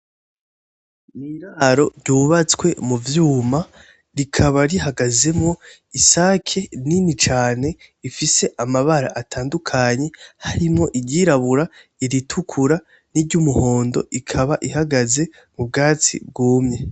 N'iraro rubatswe mu vyuma rikaba rihagazemwo isake nini cane ifise amabara atandukanye harimwo iryirabura, iritukura, n'iryumuhondo ikaba ihagaze m'ubwatsi bwumye.